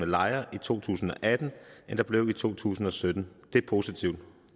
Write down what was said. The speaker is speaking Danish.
lejre i to tusind og atten end der blev i to tusind og sytten det er positivt